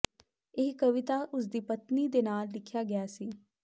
ਇਹ ਕਵਿਤਾ ਉਸ ਦੀ ਪਤਨੀ ਦੇ ਨਾਲ ਲਿਖਿਆ ਗਿਆ ਸੀ